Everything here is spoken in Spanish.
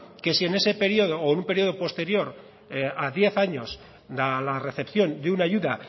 que si en ese periodo o en un periodo posterior a diez años a la recepción de una ayuda